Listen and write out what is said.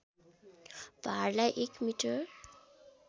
भारलाई एक मिटर